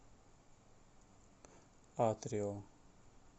атрио